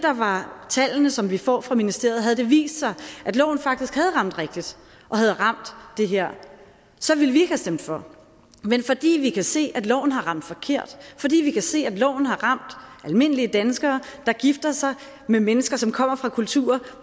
tal som vi får fra ministeriet vist sig at loven faktisk havde ramt rigtigt og havde ramt det her så ville vi ikke stemt for men fordi vi kan se at loven har ramt forkert fordi vi kan se at loven har ramt almindelige danskere der gifter sig med mennesker som kommer fra kulturer